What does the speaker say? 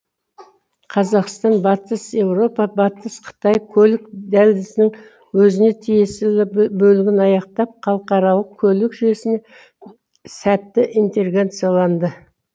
қазақстан батыс еуропа батыс қытай көлік дәлізінің өзіне тиесілі бөлігін аяқтап халықаралық көлік жүйесіне сәтті интеграцияланды